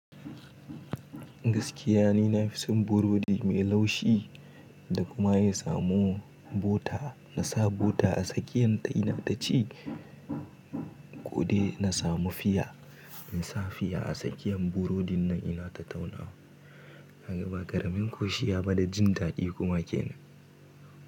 Gaskiya ni na fi son burodi mai laushi da kuma ya samo bota. Na sa bota a tsakiyan ta ina taci ko dai na samu fiya. In sa fiya a tsakiyan burodin nan ina ta tauna wa. Na gaba ƙaramin koshi ya bada jin daɗi kuma kenan.